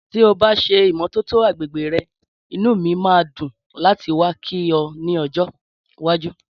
Tí o bá ṣe ìmọ́tótó agbègbè rè inú mi máa dùn láti wá kí ọ ni ojo iwájú